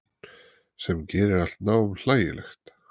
Sem gerir allt nám hlægilegt.